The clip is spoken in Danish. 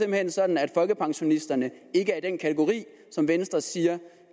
hen sådan at folkepensionisterne ikke er i den kategori som venstre siger